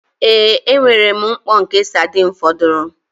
Ee, enwere m mkpọ nke sardine fọdụrụ